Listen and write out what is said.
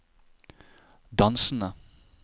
dansende